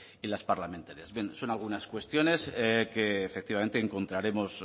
y las parlamentarias bien son algunas cuestiones que efectivamente encontraremos